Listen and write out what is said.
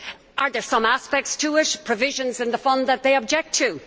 Are there some aspects or provisions in the Fund which they object to?